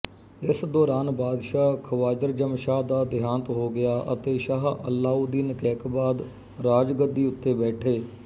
ਇਸ ਦੌਰਾਨ ਬਾਦਸ਼ਾਹ ਖਵਾਜਰਜਮਸ਼ਾਹ ਦਾ ਦੇਹਾਂਤ ਹੋ ਗਿਆ ਅਤੇ ਸ਼ਾਹ ਅਲਾਉਦੀਨ ਕੈਕਬਾਦ ਰਾਜਗੱਦੀ ਉੱਤੇ ਬੈਠੇ